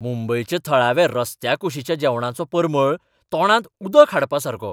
मुंबयच्या थळाव्या रस्त्याकुशीच्या जेवणाचो परमळ तोंडांत उदक हाडपासारको.